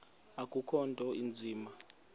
akukho nto inzima